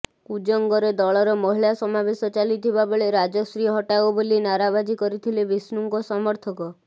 କୁଜଙ୍ଗରେ ଦଳର ମହିଳା ସମାବେଶ ଚାଲିଥିବା ବେଳେ ରାଜଶ୍ରୀ ହଟାଓ ବୋଲି ନାରାବାଜି କରିଥିଲେ ବିଷ୍ଣୁଙ୍କ ସମର୍ଥକ